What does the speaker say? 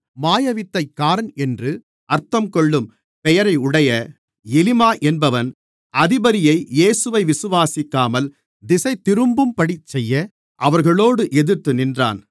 மாயவித்தைக்காரன் என்று அர்த்தங்கொள்ளும் பெயரையுடைய எலிமா என்பவன் அதிபதியை இயேசுவை விசுவாசிக்காமல் திசைதிரும்பும்படி செய்ய அவர்களோடு எதிர்த்து நின்றான்